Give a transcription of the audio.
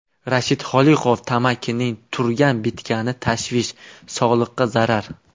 Rashid Xoliqov: tamakining turgan-bitgani tashvish, sog‘liqqa zarar.